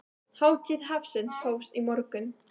Hátíð hafsins hófst í morgun.